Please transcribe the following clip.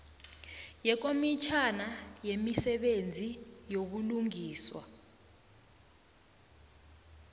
yekomitjhana yemisebenzi yobulungiswa